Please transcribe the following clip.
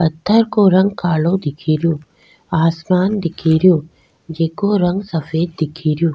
पत्थर को रंग कालो दिखेरो आसमान दिखेरो जेको रंग सफ़ेद दिखेरो।